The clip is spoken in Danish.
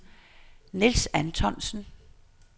Nils Antonsen